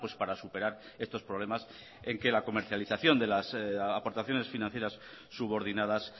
para superar estos problemas en que la comercialización de las aportaciones financieras subordinadas